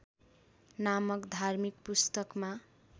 नामक धार्मिक पुस्तकमा